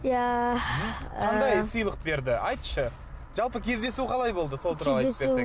иә ыыы қандай сыйлық берді айтшы жалпы кездесу қалай болды сол туралы айтып берсең